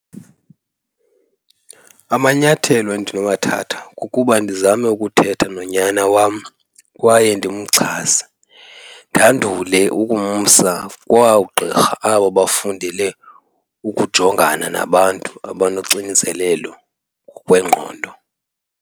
Amanyathelo endinowathatha kukuba ndizame ukuthetha nonyana wam kwaye ndimxhase, ndandule ukumsa kwagqirha abo bafundele ukujongana nabantu abanoxinzelelo ngokwengqondo.